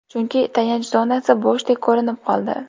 Chunki, tayanch zonasi bo‘shdek ko‘rinib qoldi.